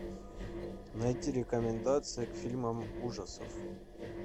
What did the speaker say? найти рекомендации к фильмам ужасов